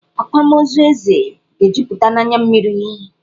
Akwamozu Eze ga-ejuputa n'anya mmiri.